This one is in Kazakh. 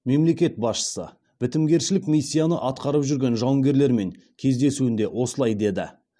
мемлекет басшысы бітімгершілік миссияны атқарып жүрген жауынгерлермен кездесуінде осылай деді